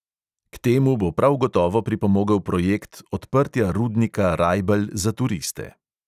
K temu bo prav gotovo pripomogel projekt odprtja rudnika rajbelj za turiste.